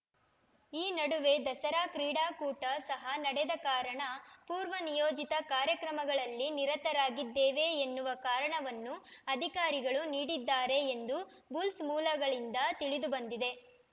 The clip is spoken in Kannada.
ಈ ನಡುವೆ ದಸರಾ ಕ್ರೀಡಾಕೂಟ ಸಹ ನಡೆದ ಕಾರಣ ಪೂರ್ವನಿಯೋಜಿತ ಕಾರ್ಯಕ್ರಮಗಳಲ್ಲಿ ನಿರತರಾಗಿದ್ದೇವೆ ಎನ್ನುವ ಕಾರಣವನ್ನೂ ಅಧಿಕಾರಿಗಳು ನೀಡಿದ್ದಾರೆ ಎಂದು ಬುಲ್ಸ್‌ ಮೂಲಗಳಿಂದ ತಿಳಿದು ಬಂದಿದೆ